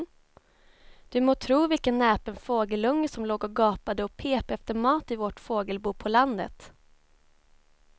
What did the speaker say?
Du må tro vilken näpen fågelunge som låg och gapade och pep efter mat i vårt fågelbo på landet.